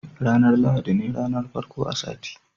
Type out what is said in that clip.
ranar lahadi ne ranar farko na sati